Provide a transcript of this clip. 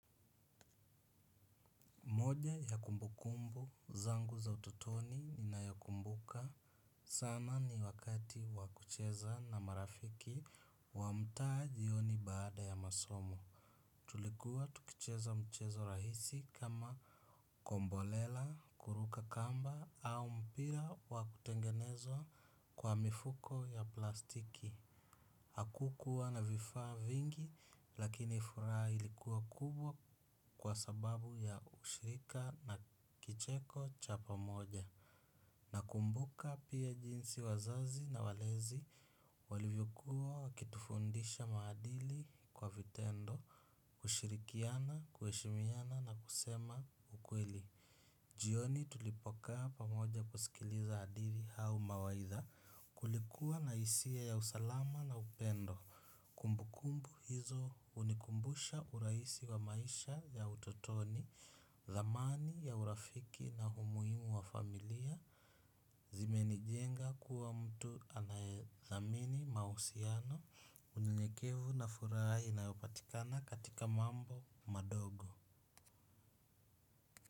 Moja ya kumbukumbu zangu za utotoni ninayokumbuka sana ni wakati wakucheza na marafiki wamtaa jioni baada ya masomo. Tulikuwa tukicheza mchezo rahisi kama kombolela, kuruka kamba au mpira wakutengenezwa kwa mifuko ya plastiki. Hakukuwa na vifaa vingi lakini furaha ilikuwa kubwa kwa sababu ya ushirika na kicheko cha pamoja. Na kumbuka pia jinsi wazazi na walezi walivyokuwa wakitufundisha maadili kwa vitendo, ushirikiano, kuheshimiana na kusema ukweli. Jioni tulipokaa pamoja kusikiliza hadithi au mawaitha kulikuwa na isia ya usalama na upendo. Kumbu kumbu hizo unikumbusha uraisi wa maisha ya utotoni, thamani ya urafiki na umuhimu wa familia, zimeni jenga kuwa mtu anayethamini mausiano, unyenyekevu na furaha inayopatikana katika mambo madogo.